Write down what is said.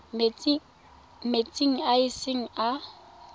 metsing a e seng a